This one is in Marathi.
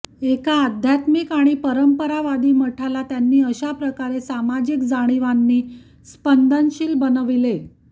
एका आध्यात्मिक आणि परंपरावादी मठाला त्यांनी अशा प्रकारे सामाजिक जाणिवांनी स्पंदनशील बनविले